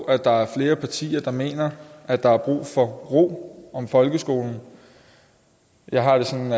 at der er flere partier der mener at der er brug for ro om folkeskolen jeg har det sådan